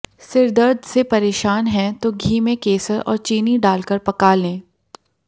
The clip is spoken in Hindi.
सिरदर्द से परेशान हैं तो घी में केसर और चीनी डालकर पका लें